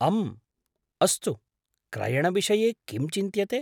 अम्म्, अस्तु, क्रयणविषये किं चिन्त्यते?